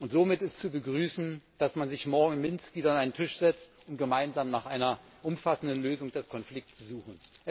Somit ist zu begrüßen, dass man sich morgen in Minsk wieder an einen Tisch setzt, um gemeinsam nach einer umfassenden Lösung des Konflikts zu suchen.